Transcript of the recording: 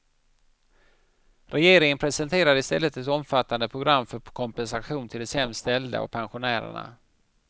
Regeringen presenterade i stället ett omfattande program för kompensation till de sämst ställda och pensionärerna.